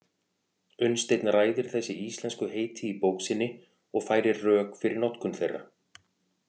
Unnsteinn ræðir þessi íslensku heiti í bók sinni og færir rök fyrir notkun þeirra.